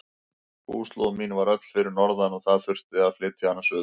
Búslóð mín var öll fyrir norðan og það þurfti að flytja hana suður.